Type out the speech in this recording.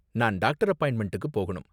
நான் டாக்டர் அப்பாயிண்ட்மெண்டுக்கு போகணும்.